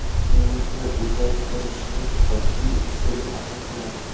Umrni uzaytirishning oddiy usuli aniqlandi.